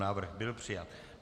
Návrh byl přijat.